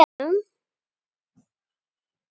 Við verðum að bjarga honum.